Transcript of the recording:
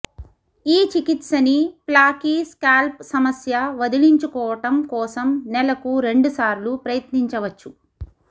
ఈ చికిత్స ని ఫ్లాకీ స్కాల్ప్ సమస్య వదిలించుకోవటం కోసం నెలకు రెండుసార్లు ప్రయత్నించవచ్చు